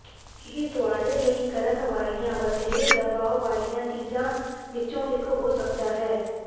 ਇਹ ਤੁਹਾਡੇ ਲਈ ਕਰਨ ਵਾਲੀਆਂ ਵਧੇਰੇ ਦਬਾਅ ਵਾਲੀਆਂ ਚੀਜ਼ਾਂ ਵਿੱਚੋਂ ਇੱਕ ਹੋ ਸਕਦਾ ਹੈ